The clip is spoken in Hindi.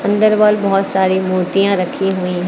अंदर वल बहुत सारी मूर्तियां रखी हुईं हैं।